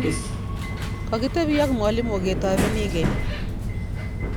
kakitebi AK mwalimu ketobenikee